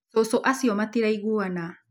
Cũcũ acio matiraiguana